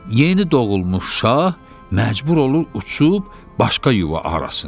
Yeni doğulmuş şah məcbur olur uçub başqa yuva arasın.